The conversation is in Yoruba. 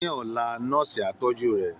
Ní ọ̀la, nọ́ọ̀sì á tọ́jú rẹ̀